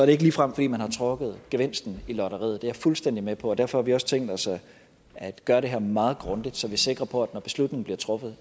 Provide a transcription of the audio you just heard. ikke ligefrem fordi man har trukket gevinsten i lotteriet det er jeg fuldstændig med på derfor har vi også tænkt os at gøre det her meget grundigt så vi er sikre på at når beslutningen bliver truffet